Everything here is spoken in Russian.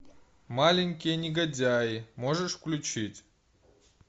маленькие негодяи можешь включить